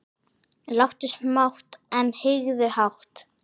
Láttu smátt, en hyggðu hátt.